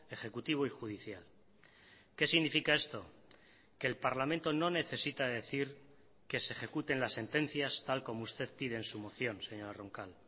ejecutivo y judicial qué significa esto que el parlamento no necesita decir que se ejecuten las sentencias tal como usted pide en su moción señora roncal